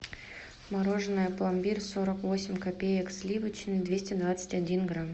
мороженное пломбир сорок восемь копеек сливочное двести двадцать один грамм